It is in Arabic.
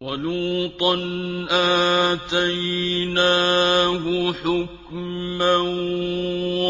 وَلُوطًا آتَيْنَاهُ حُكْمًا